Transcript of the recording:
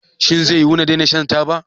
Shin zai yiwu na daina shan taba?